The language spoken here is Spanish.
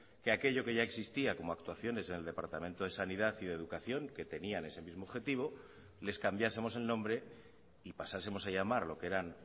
que aquello que ya existía como actuaciones en el departamento de sanidad y de educación que tenían ese mismo objetivo les cambiásemos el nombre y pasásemos a llamar lo que eran